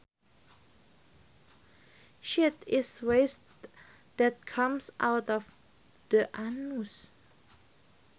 Shit is waste that comes out of the anus